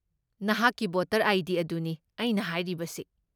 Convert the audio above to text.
ꯅꯍꯥꯛꯀꯤ voter ID. ꯑꯗꯨꯅꯤ ꯑꯩꯅ ꯍꯥꯏꯔꯤꯕꯁꯤ꯫